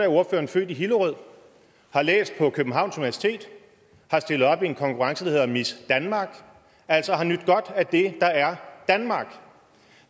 ordføreren født i hillerød har læst på københavns universitet har stillet op i en konkurrence der hedder miss danmark altså har nydt godt af det der er danmark